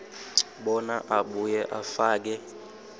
bona abuye afake